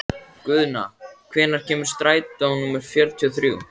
Guðna, hvenær kemur strætó númer fjörutíu og þrjú?